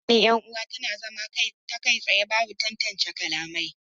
Hira tsakanin yan uwa tana zama ta kai tsaye babu tantance kalamai